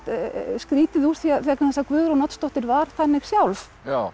skrýtið vegna þess að Guðrún Oddsdóttir var þannig sjálf